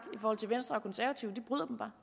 når